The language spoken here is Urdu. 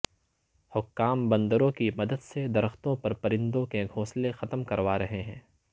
حکام بندروں کی مدد سے درختوں پر پرندوں کے گھونسلے ختم کروا رہے ہیں